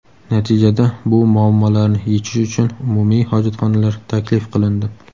Natijada bu muammolarni yechish uchun umumiy hojatxonalar taklif qilindi.